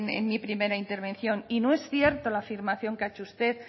en mi primera intervención y no es cierta la afirmación que ha hecho usted